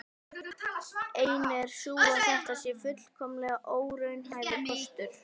Ein er sú að þetta sé fullkomlega óraunhæfur kostur.